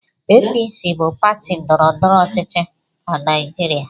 APC bụ pati ndọrọndọrọ ọchịchị na Naịjirịa.